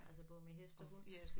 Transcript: Altså både med hest og hund